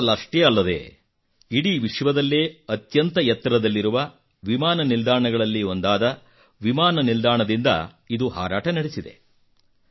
ಭಾರತದಲ್ಲಷ್ಟೇ ಅಲ್ಲದೆ ಇಡೀ ವಿಶ್ವದಲ್ಲೇ ಅತ್ಯಂತ ಎತ್ತರದಲ್ಲಿರುವ ವಿಮಾನ ನಿಲ್ದಾಣಗಳಲ್ಲಿ ಒಂದಾದ ವಿಮಾನ ನಿಲ್ದಾಣದಿಂದ ಇದು ಹಾರಾಟ ನಡೆಸಿದೆ